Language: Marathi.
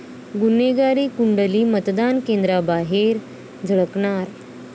गुन्हेगारांची कुंडली मतदान केंद्रांबाहेर झळकणार